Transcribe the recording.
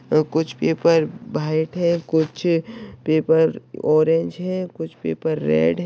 यहा कुछ paper white है कुछ पेपर ऑरेंज है कुछ पेपर रेड़ है।